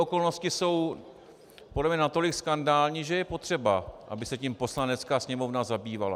Okolnosti jsou podle mě natolik skandální, že je potřeba, aby se tím Poslanecká sněmovna zabývala.